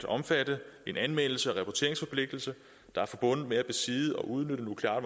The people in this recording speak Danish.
omfatte en anmeldelse og rapporteringsforpligtelse der er forbundet med at besidde og udnytte nukleare